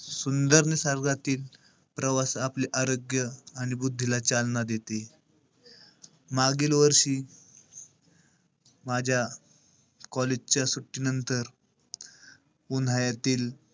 सुंदर निसर्गातील, प्रवास आपले आरोग्य आणि बुद्धीला चालना देते. मागील वर्षी माझ्या college च्या सुट्टीनंतर उन्हाळ्यातील,